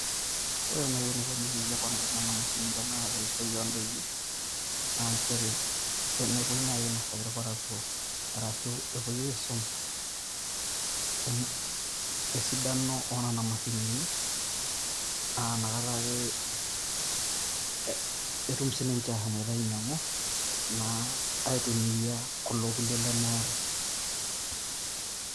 Ore naii eneikuni naii teneponari Kuna mashinini eishoi oo daiki naa nchere tenepoi naii ainosaki irparakuo ashu enepoi aisum esidano oo Nena mashinini naa nakata ake etum sininche aashomoita ainyiang'u naa aitumiya kulo kullie lemeeta .